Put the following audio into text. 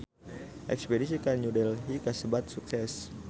Espedisi ka New Delhi kasebat sukses